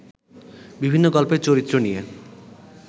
বিভিন্ন গল্পের চরিত্র নিয়ে